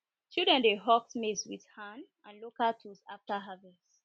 children dey husk maize with hand and local tools after harvest